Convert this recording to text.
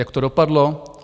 Jak to dopadlo?